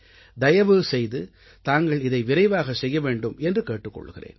தயவு செய்து தாங்கள் இதை விரைவாகவே செய்ய வேண்டும் என்று கேட்டுக் கொள்கிறேன்